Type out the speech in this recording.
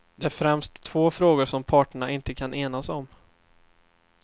Det är främst två frågor som parterna inte kan enas om.